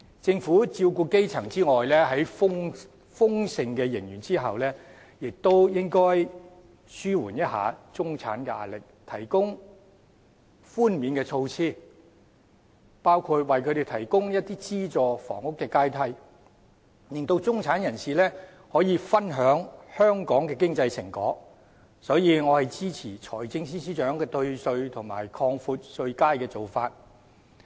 政府在照顧基層之外，在豐盛的盈餘下，亦應紓緩中產的壓力，提供寬免措施，包括為他們提供資助房屋的階梯，令中產人士也可以分享香港的經濟成果，所以我支持財政司司長提出退稅及擴闊稅階的做法。